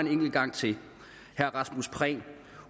sige